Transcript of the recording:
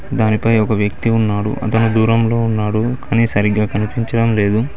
దానిపై ఒక వ్యక్తి ఉన్నాడు అతను దూరంలో ఉన్నాడు కానీ సరిగ్గా కనిపించడం లేదు.